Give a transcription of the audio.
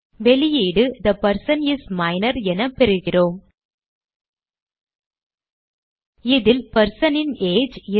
வெளியீடு the person is minor என பெறுகிறோம் இதில் person ன் ஏஜ்